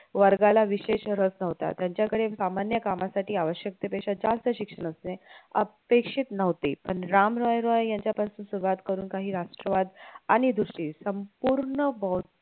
वर्गाला विशेष रस नव्हता त्यांच्या कडे सामान्य कामासाठी आवश्यकते पेक्षा जास्त शिक्षण असणे अपेक्षित नव्हते पण राम राय रॉय यांच्या पासून सुरवात करून काही राष्ट्रवाद आणि दुसरी संपूर्ण बौध